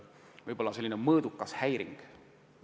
– võib-olla selline mõõdukas häiring.